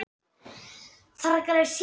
En hvaða mistök standa upp úr?